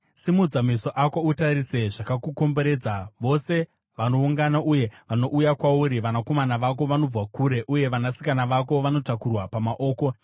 “Simudza meso ako utarise zvakakukomberedza: vose vanoungana uye vanouya kwauri, vanakomana vako vanobva kure, uye vanasikana vako vanotakurwa pamaoko.